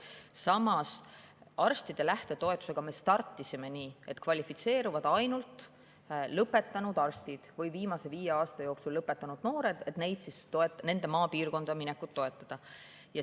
Samas, arstide lähtetoetusega me startisime nii, et kvalifitseerusid ainult viimase viie aasta jooksul lõpetanud noored, nende maapiirkonda minekut toetada.